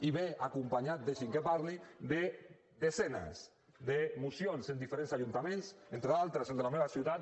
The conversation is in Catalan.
i ve acompanyat deixi’m que parli de desenes de mocions en diferents ajuntaments entre d’altres el de la meva ciutat